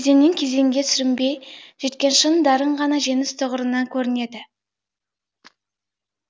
кезеңнен кезеңге сүрінбей жеткен шын дарын ғана жеңіс тұғырынан көрінеді